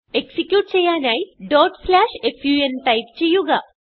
execute ചെയ്യാനായി fun type ചെയ്യുക